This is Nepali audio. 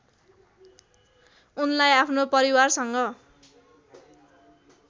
उनलाई आफ्नो परिवारसँग